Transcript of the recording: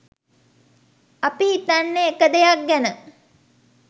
අපි හිතන්නේ එක දෙයක් ගැන.